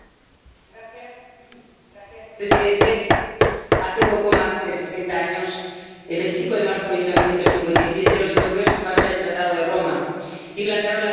Señor presidente, hace poco más de sesenta años, el 25 de marzo de 1957, los europeos firmaron el Tratado de Roma y plantaron la semilla de la Unión.